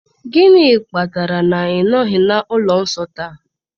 Gịnị kpatara na ị nọghị na ụlọ nsọ taa?